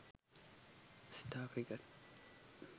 star cricket